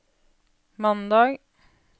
mandag